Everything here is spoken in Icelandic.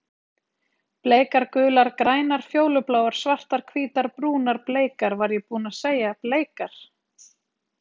Bleikar gular grænar fjólubláar svartar hvítar brúnar bleikar var ég búinn að segja bleikar?